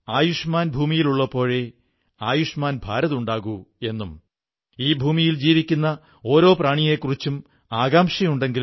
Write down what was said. സുഹൃത്തുക്കളേ ഉത്സങ്ങളുടെ ഈ സന്തോഷോല്ലാസങ്ങൾക്കിടിയിൽ ലോക്ഡൌണിനെക്കുറിച്ചു കൂടി ഓർമ്മ വേണം